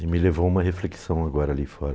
E me levou uma reflexão agora ali fora.